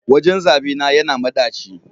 wajen zaɓe na yana madaci